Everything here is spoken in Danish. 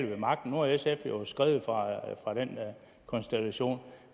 ved magten nu er sf jo skredet fra den konstellation